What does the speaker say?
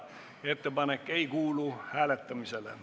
Ettepanek ei kuulu hääletamisele.